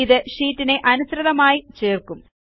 ഇത് ഷീറ്റിനെ അതിനനുസൃതമായി ചേർക്കും